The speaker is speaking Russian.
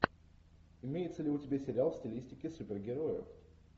имеется ли у тебя сериал в стилистике супергероев